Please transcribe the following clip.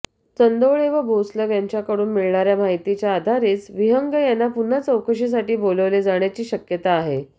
चंदोळे व भोसलग यांच्याकडून मिळणाऱ्या माहितीच्या आधारेच विहंग यांना पुन्हा चौकशीसाठी बोलवले जाण्याची शक्यता आहे